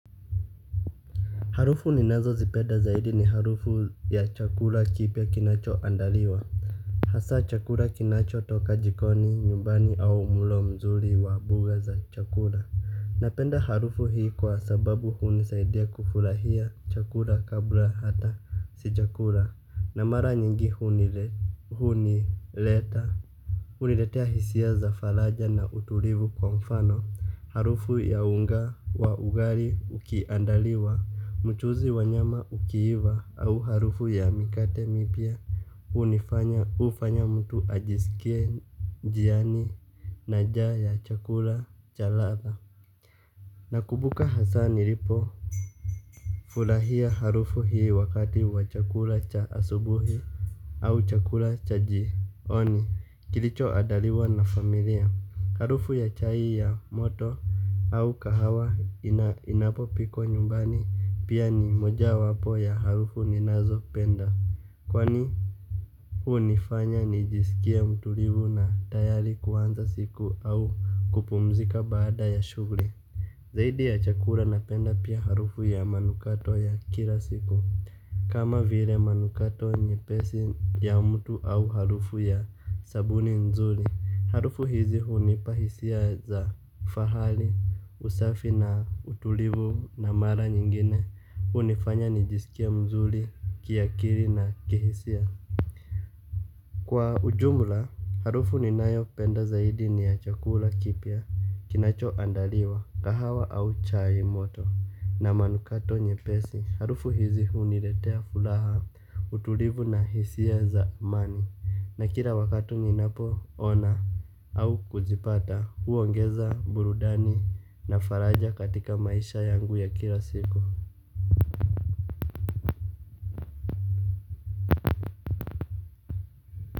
Harufu ninazozipeda zaidi ni harufu ya chakula kipya kinachoandaliwa. Hasa chakula kinacho toka jikoni, nyumbani au mlo mzuri wa buga za chakula. Napenda harufu hii, kwa sababu hunisaidia kufurahia chakula kabla hata sijakula. Na mara nyingi hunileta. Uniletea hisia za falaja na utulivu kwa mfano, harufu ya unga wa ugari ukiandaliwa, mchuzi wa nyama ukiiva au harufu ya mikate mipya, unifanya ufanya mtu ajisikie jiani na jaa ya chakula cha latha. Nakubuka hasaa niripo fulahia harufu hii, wakati wa chakula cha asubuhi, au chakula cha jioni. Kilicho adaliwa na familia. Harufu ya chai ya moto au kahawa, inapopikwa nyumbani. Pia, ni moja wapo ya harufu ninazopenda. Kwani, hunifanya nijisikie mtulivu na tayari kuanza siku au kupumzika baada ya shughuri. Zaidi ya chakula napenda pia harufu ya manukato ya, kila siku. Kama vire manukato nyepesi ya mtu au harufu ya sabuni nzuli. Harufu hizi, hunipa hisia za fahali, usafi na utulivu na mara nyingine, unifanya nijisikie mzuli, kiakiri na kihisia. Kwa ujumula, harufu ninayopenda zaidi ni ya chakula kipya. Kinacho andaliwa, kahawa au chai moto. Na manukato nyepesi. Harufu hizi, huniretea fulaha, utulivu na hisia za mani, na kila wakati ninapoona au kuzipata, huongeza burudani na faraja katika maisha yangu ya kila siku.